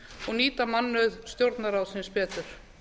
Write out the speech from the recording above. og nýta mannauð stjórnarráðsins betur